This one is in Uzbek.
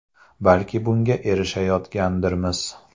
Balki bunga erishayotgandirmiz.